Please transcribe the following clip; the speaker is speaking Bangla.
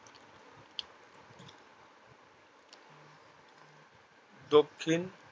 দক্ষিণ